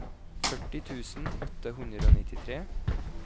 førti tusen åtte hundre og nittitre